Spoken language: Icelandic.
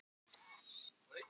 Kaj, hvað er klukkan?